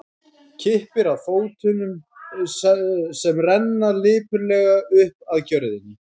Kippir að sér fótunum sem renna lipurlega upp að gjörðinni.